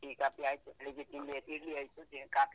Tea coffee ಆಯ್ತು, ಬೆಳಗ್ಗೆ ತಿಂಡಿ ಆಯ್ತು ಇಡ್ಲಿ ಆಯ್ತು, ಕಾಫಿ ಆಯ್ತು.